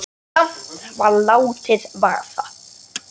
En samt var látið vaða.